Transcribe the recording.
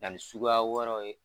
Ani suguya wɛrɛw ye.